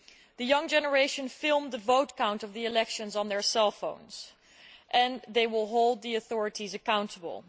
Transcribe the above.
The young generation filmed the vote count of the elections on their cell phones and they will hold the authorities accountable.